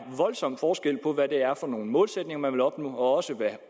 voldsom forskel på hvad det er for nogle målsætninger man vil opnå hvad